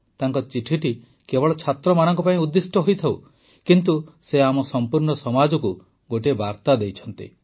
ତାଙ୍କ ଚିଠିଟି କେବଳ ଛାତ୍ରମାନଙ୍କ ପାଇଁ ଉଦ୍ଦିଷ୍ଟ ହୋଇଥାଉ କିନ୍ତୁ ସେ ଆମ ସମ୍ପୂର୍ଣ୍ଣ ସମାଜକୁ ଗୋଟିଏ ବାର୍ତ୍ତା ଦେଇଛନ୍ତି